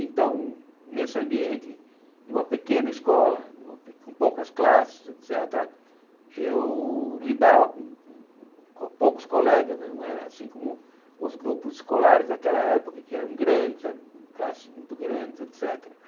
Então, nesse ambiente de uma pequena escola, uma pe com poucas classes, et cétera, eu lidava com poucos colegas, não era assim como os grupos escolares daquela época, que eram grandes, eram classes muito grandes, et cétera.